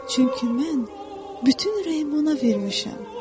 Çünki mən bütün ürəyimi ona vermişəm.